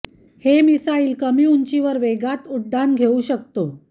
हे मिसाइल कमी उंचीवर वेगात उड्डाण घेऊ शकतो